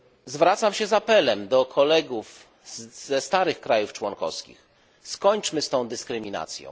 Zwracam się z apelem do kolegów ze starych państw członkowskich skończmy z tą dyskryminacją.